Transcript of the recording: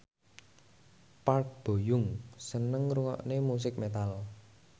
Park Bo Yung seneng ngrungokne musik metal